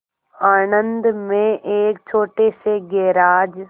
आणंद में एक छोटे से गैराज